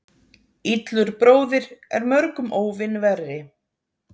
Illur bróðir er mörgum óvin verri.